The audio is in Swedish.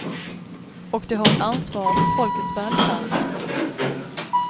Och de har ett ansvar för folkets välfärd.